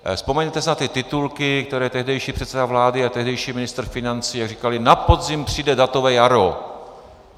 Vzpomeňte si na ty titulky, které tehdejší předseda vlády a tehdejší ministr financí říkali: na podzim přijde datové jaro.